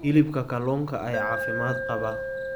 Hilibka kalluunka ayaa caafimaad qaba.